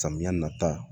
Samiya nata